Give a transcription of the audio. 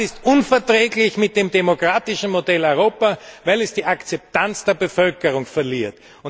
Das verträgt sich nicht mit dem demokratischen Modell Europa, weil es die Akzeptanz der Bevölkerung verliert.